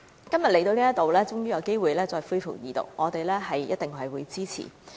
今天終於有機會恢復二讀，我們定必支持。